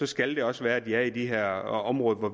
skal det også være et ja i de her områder hvor